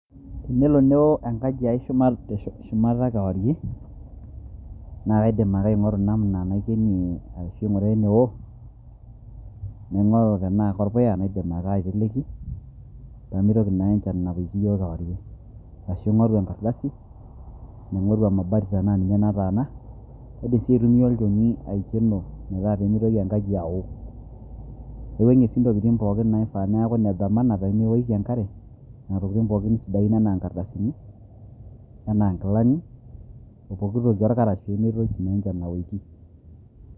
Tenelo neo engaji aii shumat te shumata kewarie naa kaidim ake aing'oru namna naikenie ashu aing'uraa eneo, naing'oru tenaa korpuya naidim ake aiteleki peemitoki naa ake enchan aoki iyiok kewarie ashu aing'oru engardasi, naing'oru emabati tenaa ninye nataana kaidim sii aitumiya olnchoni tenaa ninye oidim metaa peemitoki engaji ao kawuang'ie sii Intokitin naifaa neeku enethamana peemewoki enk'are, Nena tokitin pooki sidain enaa engardasini, enaa engilani,o pookitoki orkarash pemetoki naa enchan aowoki.